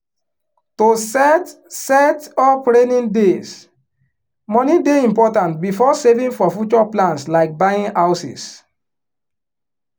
to set set up raining days money dey important before saving for future plans like buying houses